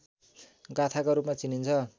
गाथाका रूपमा चिनिन्छ